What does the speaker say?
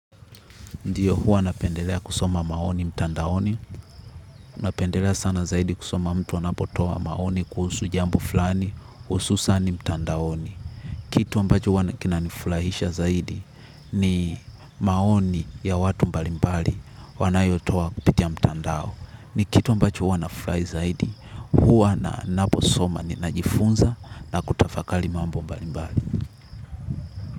Ndiyo, huwa napendelea kusoma maoni mtandaoni, napendelea sana zaidi kusoma mtu anapotoa maoni kuhusu jambo fulani, hususani mtandaoni. Kitu ambacho huwa kinanifurahisha zaidi, ni maoni ya watu mbali mbali wanayotoa kupitia mtandao. Ni kitu ambacho huwa nafurahi zaidi huwa naposoma najifunza na kutafakali mambo mbali mbali.